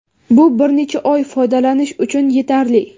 Bu bir necha oy foydalanish uchun yetarli.